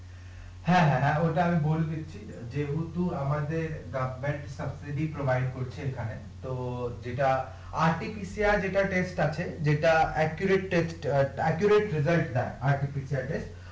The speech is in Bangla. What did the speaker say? হ্যাঁ হ্যাঁ হ্যাঁ, ঐটা আমি বলে দিচ্ছি যেহেতু আমাদের করছে এখানে তো যেটা যেটা আছে যেটা টা এর